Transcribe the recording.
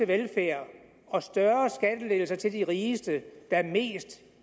velfærd og større skattelettelser til de rigeste være mest